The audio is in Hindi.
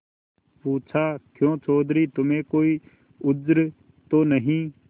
पूछाक्यों चौधरी तुम्हें कोई उज्र तो नहीं